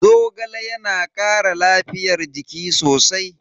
Zogale yana kara lafiyar jiki sosai.